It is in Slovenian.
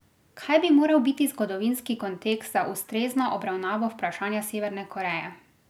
Kaj bi moral biti zgodovinski kontekst za ustrezno obravnavo vprašanja Severne Koreje?